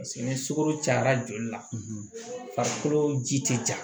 ni sukoro cayara joli la farikolo ji tɛ ja